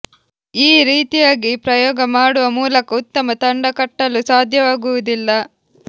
ಈ ರೀತಿಯಾಗಿ ಪ್ರಯೋಗ ಮಾಡುವ ಮೂಲಕ ಉತ್ತಮ ತಂಡ ಕಟ್ಟಲು ಸಾಧ್ಯವಾಗುವುದಿಲ್ಲ